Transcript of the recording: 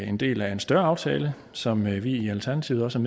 en del af en større aftale som vi i alternativet også